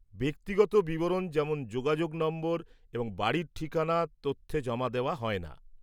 ব্যক্তিগত বিবরণ, যেমন যোগাযোগ নম্বর এবং বাড়ির ঠিকানা তথ্যে জমা দেওয়া হয় না।